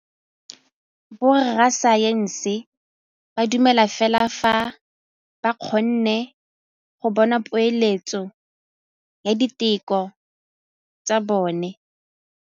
Borra saense ba dumela fela fa ba kgonne go bona poeletsô ya diteko tsa bone.